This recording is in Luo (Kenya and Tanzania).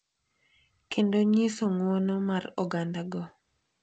Kendo nyiso ng’wono mar ogandago.